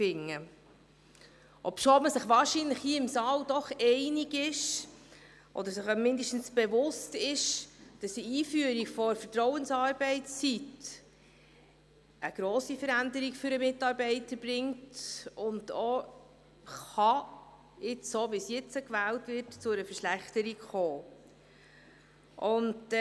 Dies, obwohl man sich hier im Saal wohl doch einig oder mindestens bewusst ist, dass die Einführung der Vertrauensarbeitszeit eine grosse Veränderung für den Mitarbeiter bringt und auch – so wie sie jetzt zur Wahl steht – zu einer Verschlechterung führen kann.